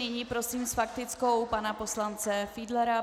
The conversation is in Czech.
Nyní prosím s faktickou pana poslance Fiedlera.